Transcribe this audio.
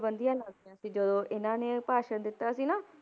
ਪਾਬੰਦੀਆਂ ਲੱਗ ਗਈਆਂ ਸੀ ਜਦੋਂ ਇਹਨਾਂ ਨੇ ਭਾਸ਼ਣ ਦਿੱਤਾ ਸੀ ਨਾ,